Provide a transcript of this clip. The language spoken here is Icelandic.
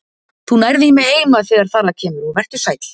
Þú nærð í mig heima þegar þar að kemur og vertu sæll.